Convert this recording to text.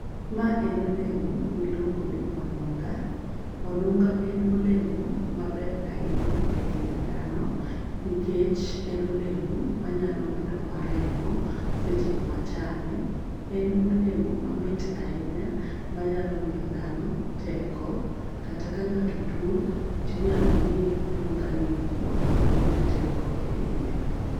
Ma en olemo miluongo ni ounga, onunga en olemo maber ahinya e ngima dhano nikech en olemo manyalo medo wa remo seche mwachame . En olemo mamit ahinya manyalo miyo dhano teko kata ka ng'ato tuo tinyalo miye onunga ni mondo oyud teko e dende.